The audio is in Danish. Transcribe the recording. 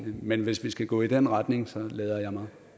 men hvis vi skal gå i den retning lader jeg mig